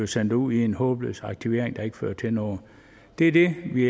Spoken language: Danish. sendt ud i en håbløs aktivering der ikke fører til noget det er det vi